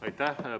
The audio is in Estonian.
Aitäh!